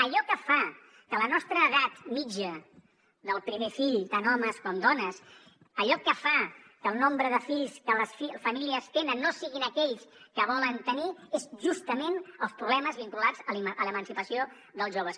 allò que fa que la nostra edat mitjana del primer fill tant homes com dones allò que fa que el nombre de fills que les famílies tenen no siguin aquells que volen tenir és justament els problemes vinculats a l’emancipació dels joves